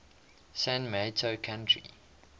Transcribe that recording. san mateo county